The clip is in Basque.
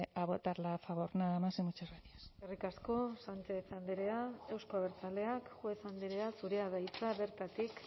a votarla a favor nada más y muchas gracias eskerrik asko sánchez andrea euzko abertzaleak juez andrea zurea da hitza bertatik